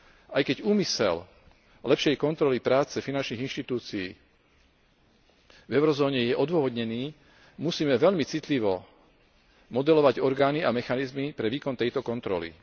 Aj keď úmysel lepšej kontroly práce finančných inštitúcií v eurozóne je odôvodnený, musíme veľmi citlivo modelovať orgány a mechanizmy pre výkon tejto kontroly.